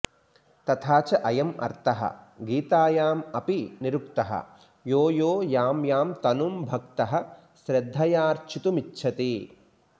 तथा च अयं अर्थः गीतायां अपि निरुक्तः यो यो यां यां तनुं भक्तः श्रद्धयार्चितुमिच्छति